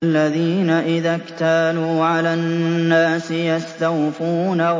الَّذِينَ إِذَا اكْتَالُوا عَلَى النَّاسِ يَسْتَوْفُونَ